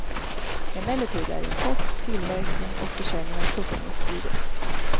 Emellertid är import, tillverkning och försäljning av tuggummi förbjudet.